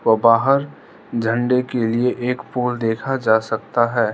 और बाहर झंडे के लिए एक पोल देखा जा सकता है।